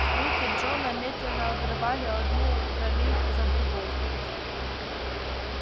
руки джона медленно обрывали одну травинку за другой